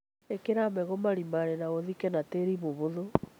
Īkĩra mbegũ marima-inĩ na ũthike na tĩri mũhũthũ